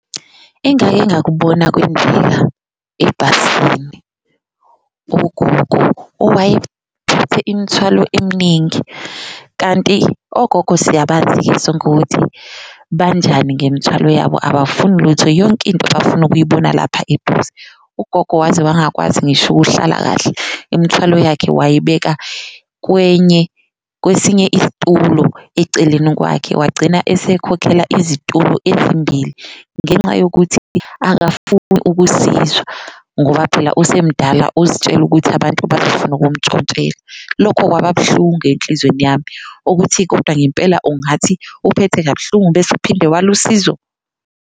Engake ngakubona kwenzeka ebhasini ugogo imithwalo emningi kanti ogogo siyabazi-ke sonke ukuthi banjani ngemthwalo yabo abafuni lutho yonke into bafuna ukuyibona lapha eduze, ugogo waze wangakwazi ngisho uhlala kahle. Imithwalo yakhe wayibeka kwesinye isitulo eceleni kwakhe wagcina esekhokhela izitulo ezimbili, ngenxa yokuthi akafuni ukusizwa ngoba phela usemdala uzitshela ukuthi abantu bazofuna ukumntshontshela. Lokho kwababuhlungu enhlizweni yami ukuthi kodwa ngempela ungathi uphethe kabuhlungu bese uphinde wale usizo.